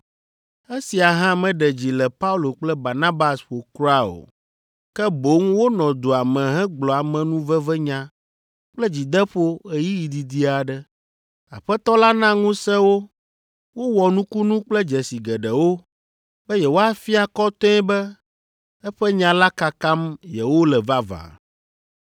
Esia hã meɖe dzi le Paulo kple Barnabas ƒo kura o, ke boŋ wonɔ dua me hegblɔ amenuvevenya kple dzideƒo ɣeyiɣi didi aɖe. Aƒetɔ la na ŋusẽ wo wowɔ nukunu kple dzesi geɖewo be yewoafia kɔtɛe be eƒe nya la kakam yewole vavã.